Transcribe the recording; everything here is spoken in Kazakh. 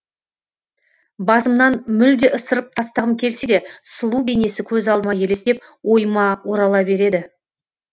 басымнан мүлде ысырып тастағым келсе де сұлу бейнесі көз алдыма елестеп ойыма орала береді